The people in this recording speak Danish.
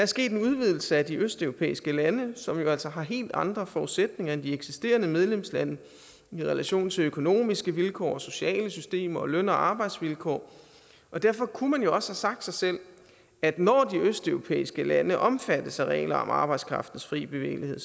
sket en udvidelse med de østeuropæiske lande som jo altså har helt andre forudsætninger end de eksisterende medlemslande i relation til økonomiske vilkår sociale systemer og løn og arbejdsvilkår derfor kunne man jo sagt sig selv at når de østeuropæiske lande omfattes af regler om arbejdskraftens fri bevægelighed